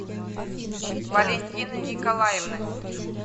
валентины николаевны